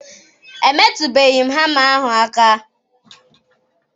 Emetụbeghị hama ahụ aka.